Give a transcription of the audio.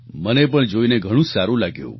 મને પણ જોઈને ઘણું જ સારું લાગ્યું